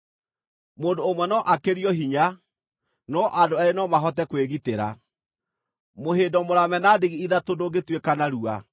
Mũndũ ũmwe no akĩrio hinya, no andũ eerĩ no mahote kwĩgitĩra. Mũhĩndo mũrame na ndigi ithatũ ndũngĩtuĩka narua.